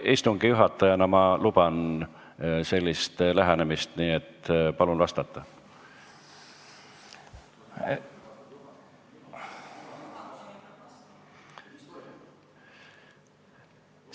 Istungi juhatajana ma luban sellist lähenemist, nii et palun vastata!